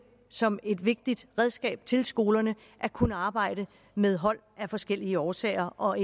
som et vigtigt redskab til skolerne at kunne arbejde med hold af forskellige årsager og